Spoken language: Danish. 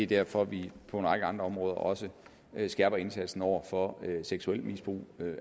derfor vi på en række andre områder også skærper indsatsen over for seksuelt misbrug